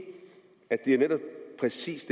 at det netop præcis